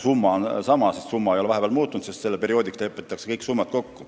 Summa ei ole aga vahepeal muutunud, sest kõik summad lepitakse kokku kindlaks perioodiks.